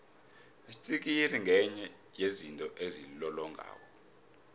itsikiri ngenye yezinto ezilolongako